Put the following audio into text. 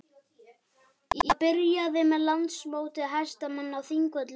Það byrjaði með Landsmóti hestamanna á Þingvöllum.